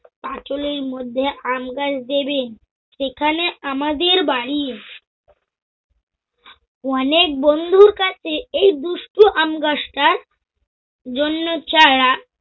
পাচুলির মধ্যে আমগাছ দেবেন, সেখানে আমাদের বাড়ি। অনেক বন্ধুর কাছে এই দুষ্টু আম গাছটার জন্য চারা